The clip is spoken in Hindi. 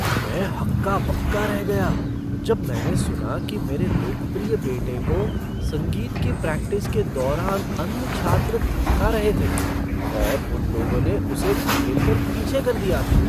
मैं हक्का बक्का रह गया जब मैंने सुना कि मेरे लोकप्रिय बेटे को संगीत की प्रैक्टिस के दौरान अन्य छात्र धमका रहे थे और उन लोगों ने उसे धकेल कर पीछे कर दिया था।